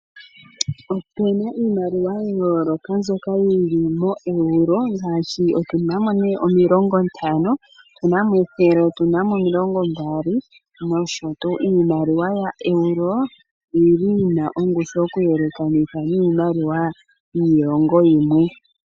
Opuna iimaliwa mbyoka ya yooloka mboka yili moEuro ngaashi otuna mo nee 50, othna mo 100, otuna mo 20, nosho tuu. Iimaliwa ya Euro, oyili yina ongushu oku yelekanitha niimaliwa yiilongo yimwe.